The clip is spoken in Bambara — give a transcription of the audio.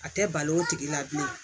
A tɛ balo o tigi la bilen